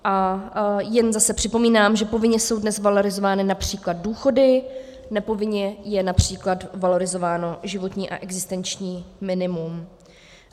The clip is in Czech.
A jen zase připomínám, že povinně jsou dnes valorizovány například důchody, nepovinně je například valorizováno životní a existenční minimum.